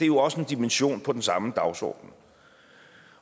jo også en dimension på den samme dagsorden